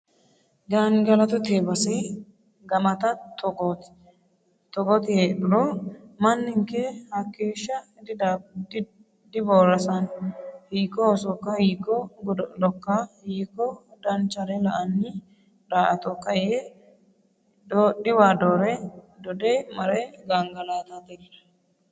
Gangalattote base gamata togoti heedhuro manninke hakeeshsha diborasano hiikko hosokka hiikko godo'lokka hiikko danchare la"ani daa"attokka yee doodhiwa dode marre gangalattatella